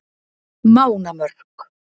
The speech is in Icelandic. Mánamörk